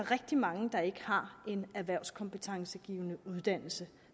rigtig mange der ikke har en erhvervskompetencegivende uddannelse